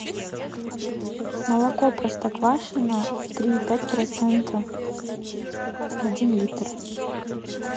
молоко простоквашино три и пять процента один литр